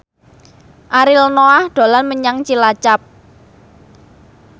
Ariel Noah dolan menyang Cilacap